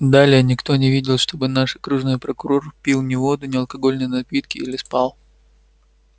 далее никто не видел чтобы наш окружной прокурор пил ни воду ни алкогольные напитки или спал